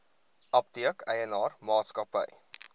apteek eienaar maatskappy